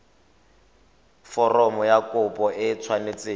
foromo ya kopo e tshwanetse